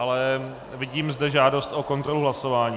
Ale vidím zde žádost o kontrolu hlasování.